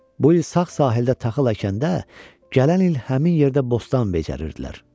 Bu il sağ sahildə taxıl əkəndə, gələn il həmin yerdə bostan becərərdilər.